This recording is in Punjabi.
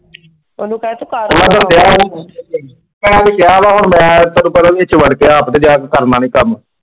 ਮੈਂ ਤਾਂ ਉਹਨੂੰ ਕਿਹਾ ਸੀ, ਮੈਂ ਉਹਨੂੰ ਕਿਹਾ ਵਾ ਹੁਣ ਮੈਂ ਤੈਨੂੰ ਪਤਾ ਪਿੱਛੋਂ ਹੱਟ ਗਿਆ ,